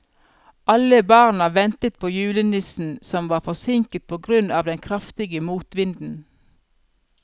Alle barna ventet på julenissen, som var forsinket på grunn av den kraftige motvinden.